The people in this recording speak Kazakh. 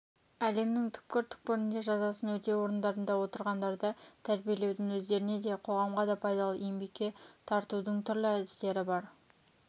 әлемнің түкпір-түкпірінде жазасын өтеу орындарында отырғандарды тәрбиелеудің өздеріне де қоғамға да пайдалы еңбекке тартудыңтүрлі әдістері бар